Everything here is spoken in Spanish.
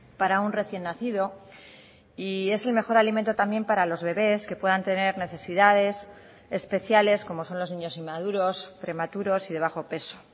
para un recién nacido y es el mejor alimento también para los bebes que puedan tener necesidades especiales como son los niños inmaduros prematuros y de bajo peso